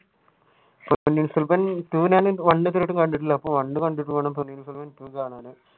Ponniyin Selvam two ഞാൻ one ഇതുവരെ കണ്ടിട്ടില്ല ഒന്ന് കണ്ടിട്ട് വേണം പൊന്നിൻ സെൽവൻ two